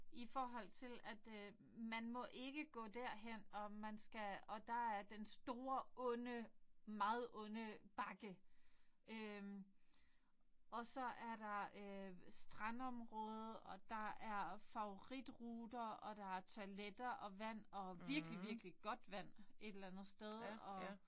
I forhold til at øh man må ikke gå derhen og man skal og der er den store onde meget onde bakke øh og så er der øh strandområde og der er favoritruter og der er toiletter og vand og virkelig virkelig godt vand et eller andet sted og